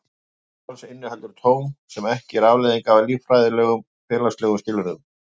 Tilvist hans inniheldur tóm sem ekki er afleiðing af líffræðilegum og félagslegum skilyrðum.